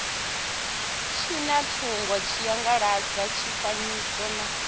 zwina thonga tshiangaladzi tshifanyiso na